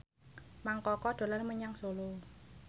Mang Koko dolan menyang Solo